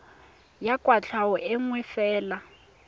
ya kwatlhao e nngwe fela